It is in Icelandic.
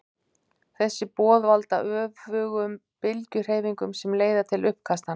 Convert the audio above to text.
þessi boð valda öfugum bylgjuhreyfingunum sem leiða til uppkastanna